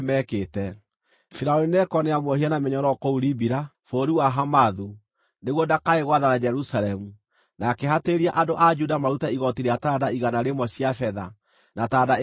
Firaũni Neko nĩamuohire na mĩnyororo kũu Ribila, bũrũri wa Hamathu, nĩguo ndakae gwathana Jerusalemu, na akĩhatĩrĩria andũ a Juda marute igooti rĩa taranda igana rĩmwe cia betha, na taranda ĩmwe ya thahabu.